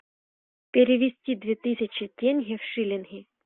перевести две тысячи тенге в шиллинги